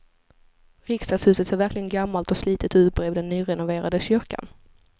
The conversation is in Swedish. Riksdagshuset ser verkligen gammalt och slitet ut bredvid den nyrenoverade kyrkan.